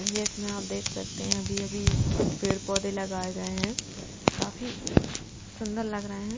जिस में आप देख सकते हैं अभी अभी कुछ पेड़ पौधे लगाए गए हैं काफी सुंदर लग रहे हैं।